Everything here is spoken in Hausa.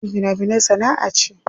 Yin fina finai sana'a ce.